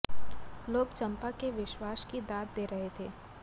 लोग चंपा के विश्वास की दात दे रहे थे